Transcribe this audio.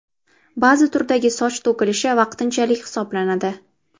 Ba’zi turdagi soch to‘kilishi vaqtinchalik hisoblanadi.